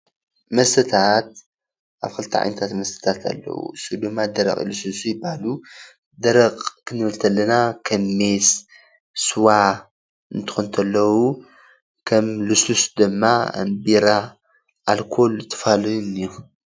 መስታት ክልተ ዓይነት መስታት ኣለዉ፡፡ ንሰቶም ድማ ደረቅን ልሰሉሱን ይባሃሉ፡፡ ደረቅ ክንብል ከለና ከም ሜስ፣ ስዋ እንትኮኑ እንተለዉ ከም ልስሉስ ድማ ከም ቢራ ኣልኮል ዝተፈላለዩን እዩ፡፡